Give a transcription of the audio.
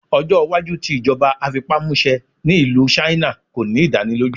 Ọjọ iwaju ti ijọba afipamuse ni Ilu China ko ni idaniloju